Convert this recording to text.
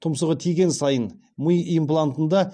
тұмсығы тиген сайын ми имплантында